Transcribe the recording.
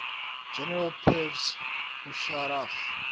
general pervez musharraf